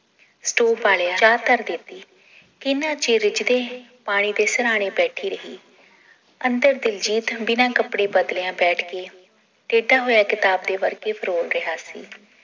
ਚਾਅ ਧਰ ਦਿੱਤੀ ਕਿੰਨਾ ਚਿਰ ਰਿੱਝਦੇ ਪਾਣੀ ਦੇ ਸਰਾਣੇ ਬੈਠੀ ਰਹੀ ਅੰਦਰ ਦਿਲਜੀਤ ਬਿਨਾ ਕਪੜੇ ਬਦਲਿਆਂ ਬੈਠ ਕੇ ਟੇਢਾ ਹੋਇਆ ਕਿਤਾਬ ਦੇ ਵਰਕੇ ਫਰੋਲ ਰਿਹਾ ਸੀ